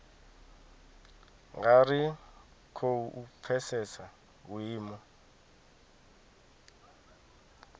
nga ri khou pfesesa vhuimo